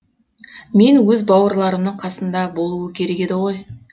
мен өз бауырларымның қасында болуы керек еді ғой